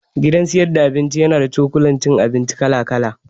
Gidan sayar da abinci na da cokula cin abinci kala kala